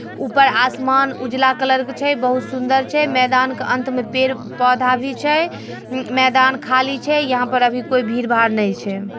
ऊपर आसमान उजला कलर के छे बहुत सुदंर छे मैदान का अंत मे पेड़ पोधा भी छे। ऊ मैदान खली छे यहा पर अभी कोई भीड़ भाड़ नही छे।